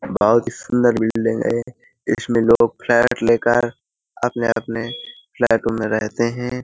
बहुत ही सुंदर बिल्डिंग है। इसमें लोग फ्लैट लेकर अपने अपने फ्लैटों में रहते हैं।